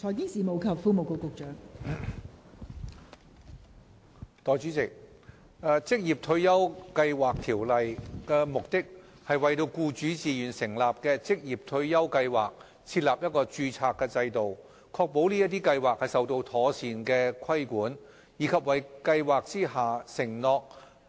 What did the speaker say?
代理主席，《職業退休計劃條例》的目的，是為僱主自願成立的職業退休計劃設立註冊制度，確保這些計劃受到妥善規管，以及為退休計劃下承諾